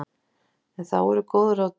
En þá eru góð ráð dýr.